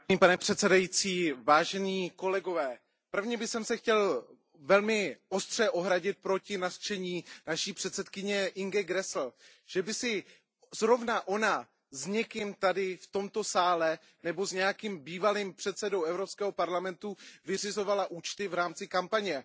Pane předsedající, nejprve bych se chtěl velmi ostře ohradit proti nařčení naší předsedkyně Ingeborg Gräßle, že by si zrovna ona s někým v tomto sále nebo s nějakým bývalým předsedou Evropského parlamentu vyřizovala účty v rámci kampaně.